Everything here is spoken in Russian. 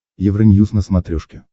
евроньюз на смотрешке